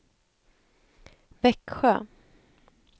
Växjö